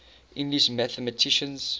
english mathematicians